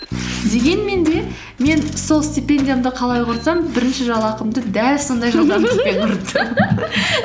дегенмен де мен сол стипендиямды қалай құртсам бірінші жалақымды дәл сондай жылдамдықпен құрттым